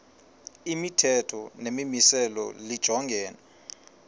imithetho nemimiselo lijongene